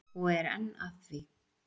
Og er enn að því.